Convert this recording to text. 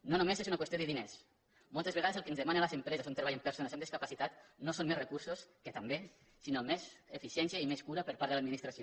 no només és una qüestió de diners moltes vegades el que ens demanen les empreses on treballen perso·nes amb discapacitat no són més recursos que també sinó més eficiència i més cura per part de l’adminis·tració